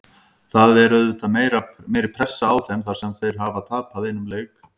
Það er auðvitað meiri pressa á þeim þar sem þeir hafa tapað einum leik.